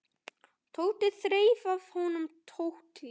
Tóti þreif af honum tólið.